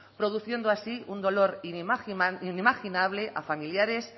produciendo así un dolor inimaginable a familiares